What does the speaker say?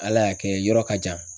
Ala y'a kɛ yɔrɔ ka jan